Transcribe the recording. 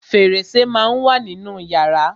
Fẹ̀rẹsẹ́ má á ń wà nínú yàrá.